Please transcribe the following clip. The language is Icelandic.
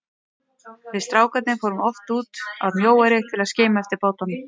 Við strákarnir fórum oft út að Mjóeyri til að skima eftir bátunum.